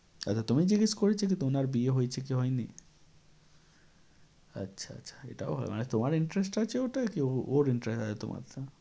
আচ্ছা তোমায় জিজ্ঞেস করেছে কি তোমার বিয়ে হয়েছে কি হয়নি? আচ্ছা আচ্ছা, এটাও হবে মানে তোমার interest আছে আর কি ওর interest আছে তোমারটা?